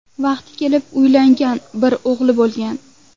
Vaqti kelib uylangan, bir o‘g‘illi bo‘lgan.